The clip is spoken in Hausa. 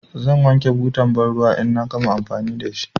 Zan wanke butar banruwa in na gama amfani da shi.